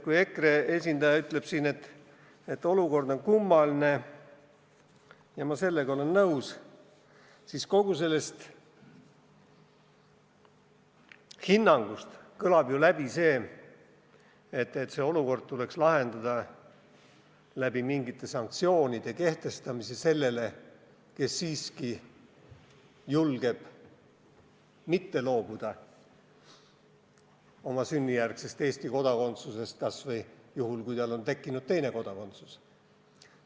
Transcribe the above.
Kui EKRE esindaja ütleb siin, et olukord on kummaline – ja ma olen sellega nõus –, siis kogu sellest hinnangust kõlab läbi ju see, et see olukord tuleks lahendada mingite sanktsioonide kehtestamisega sellele, kes siiski julgeb mitte loobuda oma sünnijärgsest Eesti kodakondsusest kas või juhul, kui tal on tekkinud teine kodakondsus.